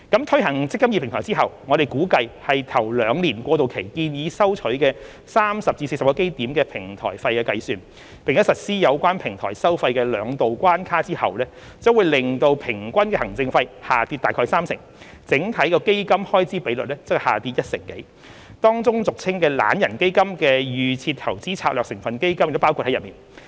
推行"積金易"平台後，我們估計以首兩年過渡期建議收取的30至40基點平台費計算，並實施有關平台收費的兩道關卡後，將可令平均行政費下跌約三成，整體基金開支比率則下跌一成多，當中俗稱"懶人基金"的預設投資策略成分基金亦包括在內。